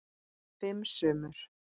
Fimm sumur